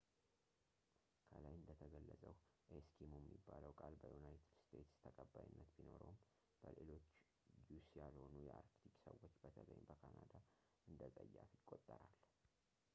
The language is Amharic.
.ከላይ እንደተገለፀው ኤስኪሞ የሚለው ቃል በዩናይትድ ስቴትስ ተቀባይነት ቢኖረውም በሌሎች ዩስ ያልሆኑ የአርክቲክ ሰዎች በተለይም በካናዳ እንደፀያፍ ይቆጠራል